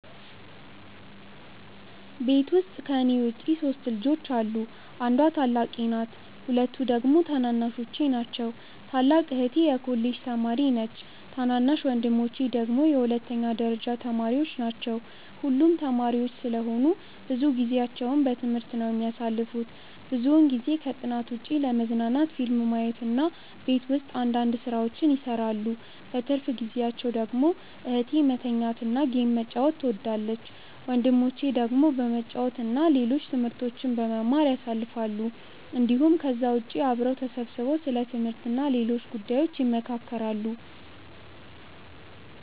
ቤት ውስጥ ከኔ ውጪ 3 ልጆች አሉ። አንዷ ታላቄ ናት ሁለቱ ደግሞ ታናናሾቼ ናቸው። ታላቅ እህቴ የኮሌጅ ተማሪ ነች ታናናሽ ወንድሞቼ ደግሞ የሁለተኛ ደረጃ ተማሪዎች ናቸው። ሁሉም ተማሪዎች ስለሆኑ ብዙ ጊዜአቸውን በትምህርት ነው የሚያሳልፉት። ብዙውን ጊዜ ከጥናት ውጪ ለመዝናናት ፊልም ማየት እና ቤት ውስጥ አንዳንድ ስራዎችን ይሰራሉ። በትርፍ ጊዜአቸው ደግሞ እህቴ መተኛት እና ጌም መጫወት ትወዳለች። ወንድሞቼ ደግሞ በመጫወት እና ሌሎች ትምህርቶችን በመማር ያሳልፋሉ እንዲሁም ከዛ ውጪ አብረው ተሰብስበው ስለ ትምህርት እና ሌሎች ጉዳዮች ይመካከራሉ።